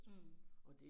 Mh